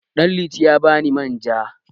Ɗanliti ya ba ni manja.